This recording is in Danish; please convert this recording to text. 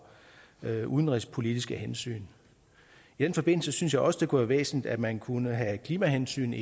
udenrigspolitiske hensyn i den forbindelse synes jeg også det kunne være væsentligt at man kunne have klimahensyn